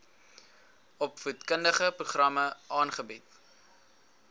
opvoedkundige programme aanbied